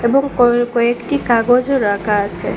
এবং ক কয়েকটি কাগজও রাখা আছে।